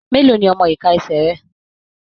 Mélòó ní ọmọ iká ẹsẹ rẹ?